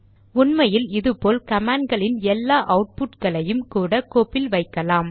உண்மையில் இது போல் கமாண்ட் களின் எல்லா அவுட்புட் களையும் கூட கோப்பில் வைக்கலாம்